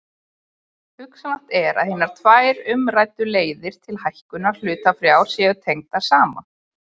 Hugsanlegt er að hinar tvær umræddu leiðir til hækkunar hlutafjár séu tengdar saman.